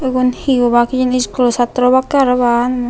egun hi obak hijeni iskulo sattoro obakke parapan.